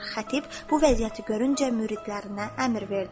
Xətib bu vəziyyəti görüncə müridlərinə əmr verdi: